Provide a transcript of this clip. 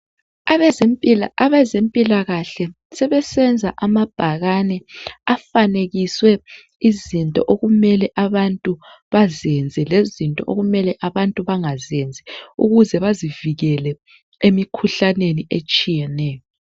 abezempilakahle sebesenza amabhakane afanekiswe izinto okumele abantu bazenze lezinto okumele abantu bangazenzi ukuze bazivikele emikhuhlaneni etshiyeneyo